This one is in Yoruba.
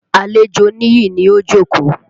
Àlejò Níyì ni ó jókòó.